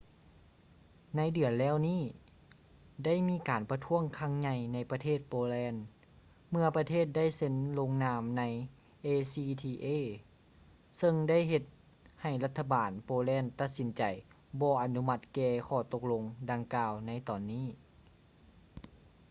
ໃນເດືອນແລ້ວນີ້ ໄດ້ມີການປະທ້ວງຄັ້ງໃຫຍ່ໃນປະເທດໂປແລນ ເມຶ່ອປະເທດໄດ້ເຊັນລົງນາມໃນ acta ເຊິ່ງໄດ້ເຮັດໃຫ້ລັດຖະບານໂປແລນຕັດສິນໃຈບໍ່ອະນຸມັດແກ່ຂໍ້ຕົກລົງດັ່ງກ່າວໃນຕອນນີ້